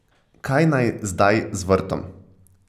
Kaj naj zdaj z vrtom?